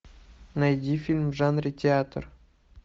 найди фильм в жанре театр